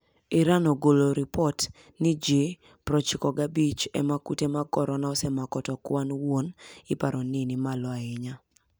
Iran ogolo lipot ni ji 95 ema kute mag korona osemako to kwan wuon iparo ni nimalo ahinya.